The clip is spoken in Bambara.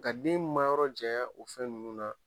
Ka den mayɔrɔ jaɲa o fɛn nunnu na